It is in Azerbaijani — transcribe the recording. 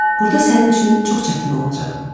Burda sənin üçün çox çətin olacaq.